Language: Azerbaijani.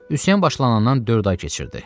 Üsyan başlanandan dörd ay keçirdi.